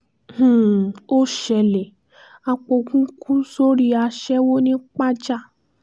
um ó ṣẹlẹ̀ apoògùn kù sórí aṣẹ́wó ńi pajà